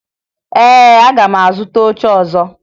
Ee, aga m azụta oche ọzọ